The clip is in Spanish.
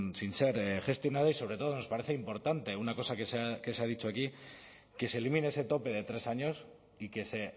sin ser gestionada y sobre todo nos parece importante una cosa que se ha dicho aquí que se elimine ese tope de tres años y que se